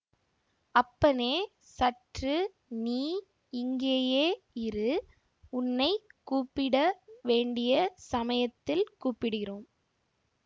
அப்பனே சற்று நீ இங்கேயே இரு உன்னை கூப்பிட வேண்டிய சமயத்தில் கூப்பிடுகிறோம்